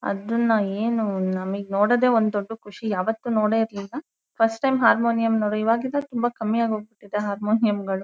ಅದುನ್ನಾ ಏನು ನಮಗೆ ನೋಡೋದೇ ಒಂದ್ ದೊಡ್ಡ ಖುಷಿ ಯಾವತ್ತೂ ನೋಡೆಯಿರಲಿಲ್ಲಾ ಫಸ್ಟ್ ಟೈಮ್ ಹಾರ್ಮೋನಿಯಂ ಇವಗಿನ್ನ ತುಂಬಾ ಕಮ್ಮಿ ಆಗಹೊಗ್ ಬಿಟ್ಟಿದೆ ಹಾರ್ಮೋನಿಯಂಗಳು .